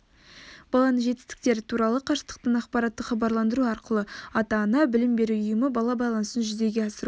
баланың жетістіктері туралы қашықтықтан ақпараттық хабарландыру арқылы ата-ана білім беру ұйымы бала байланысын жүзеге асыру